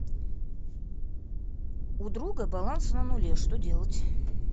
у друга баланс на нуле что делать